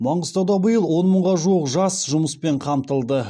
маңғыстауда биыл он мыңға жуық жас жұмыспен қамтылды